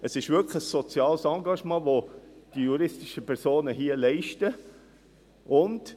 Es ist ein soziales Engagement, welches die juristischen Personen hier leisten.